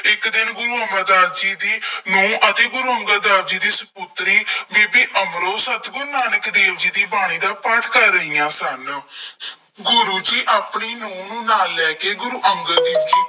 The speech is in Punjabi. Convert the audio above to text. ਇੱਕ ਦਿਨ ਗੁਰੂ ਅਮਰਦਾਸ ਜੀ ਦੀ ਨਹੁੰ ਅਤੇ ਗੁਰੂ ਅੰਗਦ ਦੇਵ ਜੀ ਸਪੁੱਤਰੀ ਬੀਬੀ ਅਮਰੋ, ਸਤਿਗੁਰੂ ਨਾਨਕ ਦੇਵ ਜੀ ਦੀ ਬਾਣੀ ਦਾ ਪਾਠ ਕਰ ਰਹੀਆਂ ਸਨ। ਗੁਰੂ ਆਪਣੀ ਨਹੁੰ ਨਾਲ ਲੈ ਕੇ ਗੁਰੂ ਅੰਗਦ ਦੇਵ ਜੀ